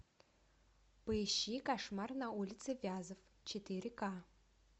поищи кошмар на улице вязов четыре ка